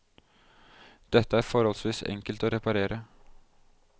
Dette er forholdsvis enkelt å reparere.